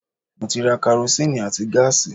Mo ti ra karosín àti gáàsì